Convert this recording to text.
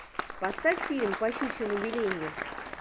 поставь фильм по щучьему велению